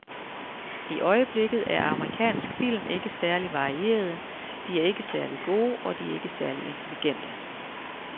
I øjeblikket er amerikansk film ikke særlig varierede, de er ikke særlig gode, og de er ikke særlig intelligente.